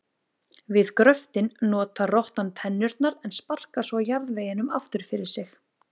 Við gröftinn notar rottan tennurnar en sparkar svo jarðveginum aftur fyrir sig.